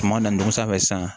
Kuma na dugu sanfɛ sisan